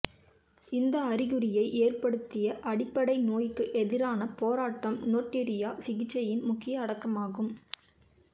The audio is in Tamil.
இந்த அறிகுறியை ஏற்படுத்திய அடிப்படை நோய்க்கு எதிரான போராட்டம் நோட்யூரியா சிகிச்சையின் முக்கிய கட்டமாகும்